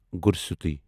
گُرسوتی